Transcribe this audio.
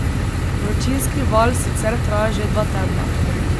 Vročinski val sicer traja že dva tedna.